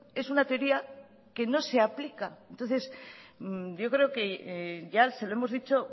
es una teoría que no se aplica entonces yo creo que ya se lo hemos dicho